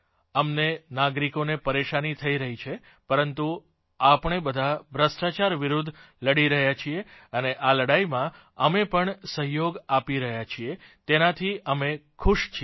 અમને નાગરિકોને પરેશાની થઇ રહી છે પરંતુ આપણે બધાં ભ્રષ્ટાચાર વિરૂદ્ધ લડી રહ્યા છીએ અને આ લડાઇમાં અમે જે સહયોગ આપી રહ્યા છીએ તેનાથી અમે ખુશ છીએ